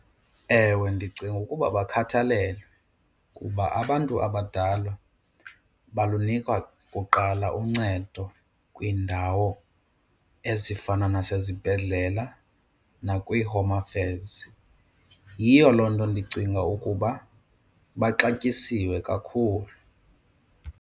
Ewe, ndicinga ukuba bakhathalelwe kuba abantu abadala balunikwa kuqala uncedo kwiindawo ezifana nasezibhedlela nakwiiHome Affairs. Yiyo loo nto ndicinga ukuba baxatyisiwe kakhulu.